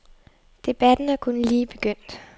Debatten er kun lige begyndt.